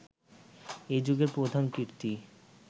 এই যুগের প্রধান কীর্তি